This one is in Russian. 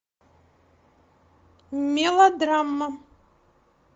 мелодрама